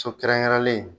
So kɛrɛnkɛrɛnlen